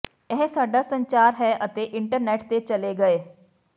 ਇਹ ਸਾਡਾ ਸੰਚਾਰ ਹੈ ਅਤੇ ਇੰਟਰਨੈਟ ਤੇ ਚਲੇ ਗਏ